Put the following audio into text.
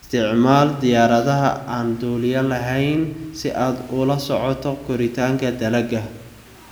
Isticmaal diyaaradaha aan duuliyaha lahayn si aad ula socoto koritaanka dalagga.